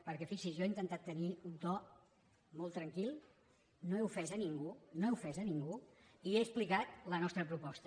perquè fixi s’hi jo he intentat tenir un to molt tranquil no he ofès ningú no he ofès ningú i he explicat la nostra proposta